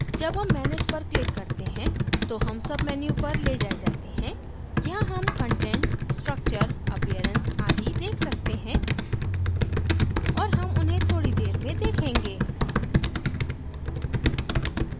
जब हम manage पर click करते हैं तो हम menu पर ले जाये जाते हैं यहाँ हम content structure appearance आदि देख सकते हैं और हम उन्हें थोड़ी देर में देखेंगे